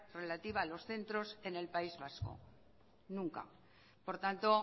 relativa a los centros en el país vasco nunca por tanto